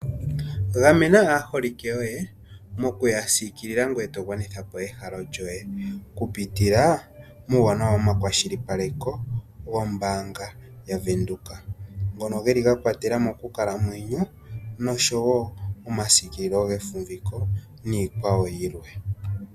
Gamena aaholike yoye mokuyasiikilila ngoye togwanitha ehalo lyawo kupitila muuwanawa womakwashilipaleko gombaanga yaVenduka ngono geli ga kwatelamo uuwanawa monkalamwenyo oshowo omasikililo nowefumviko niikwawo yilwe.